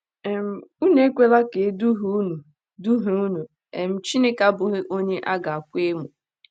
um “ Unu ekwela ka e duhie unu duhie unu: um Chineke abụghị onye a ga - akwa emo um.